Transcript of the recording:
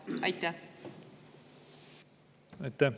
Aitäh!